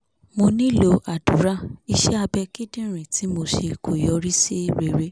mo nílò àdúrà iṣẹ́ abẹ kíndìnrín tí mo ṣe kò yọrí sí rere